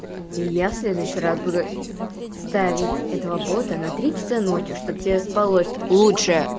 и я следующий раз буду ставить этого бота на три часа ночи чтобы тебе спалось лучше